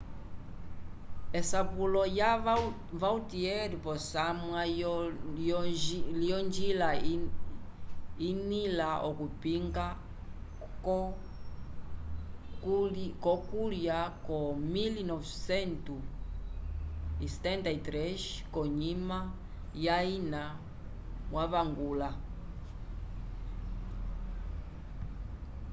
esapulo ya vautier posamwa yo njila inila okupinga co kulya ko 1973 konyima ya ina wavangula